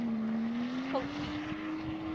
kultuur